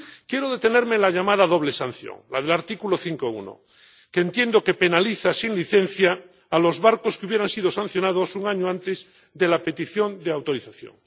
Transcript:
Quiero detenerme en la llamada doble sanción, la del artículo 5, apartado 1, que entiendo que penaliza sin licencia a los barcos que hubieran sido sancionados un año antes de la petición de autorización.